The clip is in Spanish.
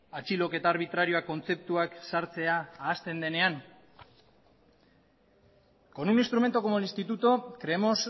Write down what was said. atxiloketa arbitrarioak kontzeptuak sartzea ahazten denean con un instrumento como el instituto creemos